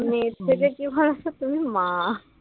মেয়ের থেকে কি বলতো তুমি মা